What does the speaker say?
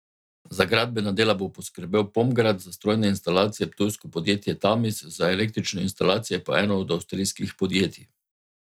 Za gradbena dela bo poskrbel Pomgrad, za strojne instalacije ptujsko podjetje Tamis, za električne instalacije pa eno od avstrijskih podjetij.